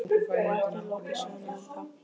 Og ekki er lokið sögunni ennþá.